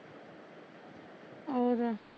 ਹੋਰ